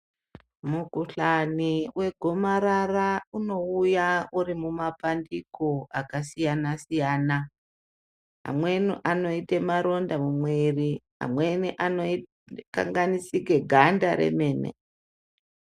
Mukuhlani wegomarara unouya uri mumapandiko akasiyana siyana amweni anoita maronda mumwiri amweni anokanganisika ganda remene.